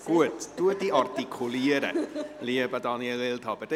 Dann gebe ich das Wort Daniel Wildhaber.